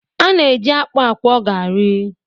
A na-eji akpụ akwọ garị.